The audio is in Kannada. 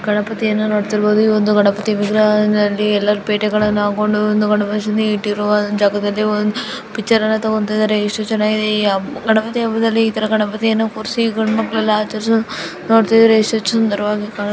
ಗಣಪತಿಯನ್ನು ನೋಡ್ತಾ ಇರಬಹುದು ಈ ಒಂದು ಗಣಪತಿ ವಿಗ್ರಹದಲ್ಲಿ ಎಲ್ಲರೂ ಪೇಟಗಳನ್ನು ಹಾಕೊಂಡು ಗಣೇಶ ಇಟ್ಟಿರುವ ಜಾಗದಲ್ಲಿ ಪಿಚ್ಚರ್ ಅನ್ನು ತಗೊಂತಾ ಇದ್ದಾರೆ ಎಷ್ಟು ಚೆನ್ನಾಗಿದೆ ಗಣಪತಿ ಹಬ್ಬದಲ್ಲಿ ಈ ತರ ಗಣಪತಿಯನ್ನು ಕೂರ್ಸಿ ಗಂಡ್ ಮಕ್ಕಳೆಲ್ಲ ಆಚರಿಸುವುದು ನೋಡ್ತಿದ್ರೆ ಎಷ್ಟು ಸುಂದರವಾಗಿ ಕಾಣುತ್ತೆ.